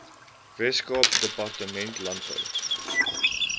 weskaapse departement landbou